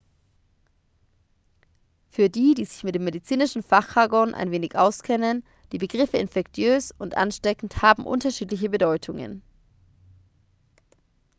für die die sich mit dem medizinischen fachjargon wenig auskennen die begriffe infektiös und ansteckend haben unterschiedliche bedeutungen